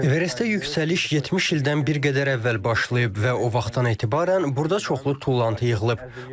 Everestdə yüksəliş 70 ildən bir qədər əvvəl başlayıb və o vaxtdan etibarən burada çoxlu tullantı yığılıb.